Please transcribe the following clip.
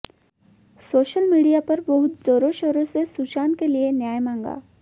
social media पर बहुत जोरों शोरों से सुशांत के लिए न्याय मांगा